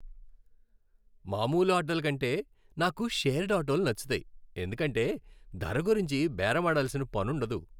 మామూలు ఆటోల కంటే, నాకు షేర్డ్ ఆటోలు నచ్చుతాయి, ఎందుకంటే ధర గురించి బేరమాడాల్సిన పనుండదు.